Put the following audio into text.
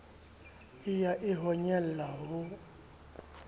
e ya e honyela o